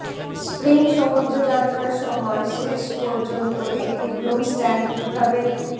spring সমুদ্রযাত্রার সময় শেষ পর্যন্ত একটি ব্রুম স্ট্যান্ড কিভাবে